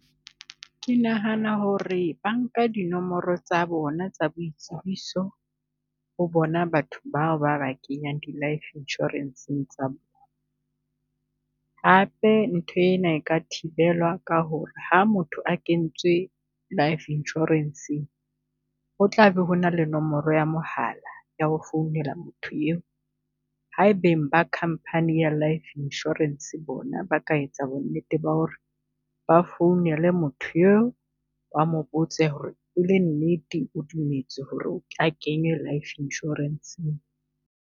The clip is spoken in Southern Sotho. Ke nahana ho re ba nka dinomoro tsa bona tsa boitsebiso ho bona batho bao ba ba kenyang di life insurance-ng tsa . Hape nthwena e ka thibelwa ka ho re ha motho a kentswe life insurance-ng, ho tlabe ho na le nomoro ya mohala ya ho founela motho eo. Ha beng ba company ya life insurance bona ba ka etsa bonnete ba ho re ba founele motho eo ba mo botse ho re ele nnete o dumetse ho re a kenywe life insurance-ng.